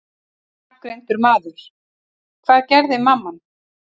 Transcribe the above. Ónafngreindur maður: Hvað gerði mamman?